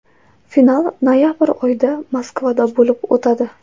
Final noyabr oyida Moskvada bo‘lib o‘tadi.